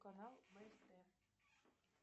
канал бст